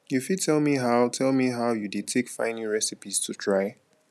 you fit tell me how tell me how you dey take find new recipes to try